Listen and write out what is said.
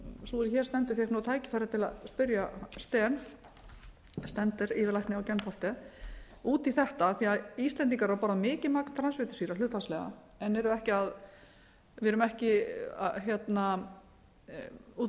sú er hér stendur fékk tækifæri til að spyrja steen stender yfirlækni á gentofte út í þetta af því að íslendingar borða mikið magn transfitusýra hlutfallslega en við erum ekki út